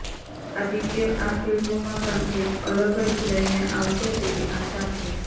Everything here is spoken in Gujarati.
આદિત્ય આ ફિલ્મમાં પણ કંઇક અલગ જ લઇને આવશે તેવી આશા છે